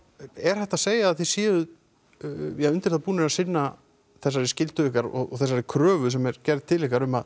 er hægt að segja að þið séuð undir það búnir að sinna þessari skyldu ykkar og þessari kröfu sem er gerð til ykkar um að